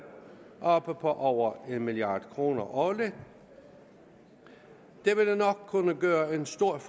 oppe på over en milliard kroner årligt det ville nok kunne gøre en stor